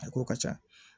A k'o ka ca